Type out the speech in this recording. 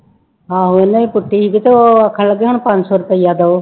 ਆਹੋ ਇਹਨਾਂ ਨੇ ਪੁੱਟੀ ਸੀ ਤੇ ਉਹ ਆਖਣ ਲੱਗੇ ਹੁਣ ਪੰਜ ਸੌ ਰੁਪਇਆ ਦਓ।